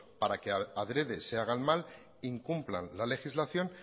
para que adrede se hagan mal incumplan la legislación